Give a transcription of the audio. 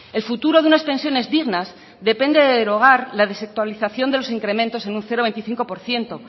el futuro de unas pensiones dignas depende de derogar la desactualización de los incrementos en un cero coma veinticinco por ciento